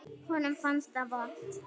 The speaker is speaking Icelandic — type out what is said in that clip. Honum fannst það vont.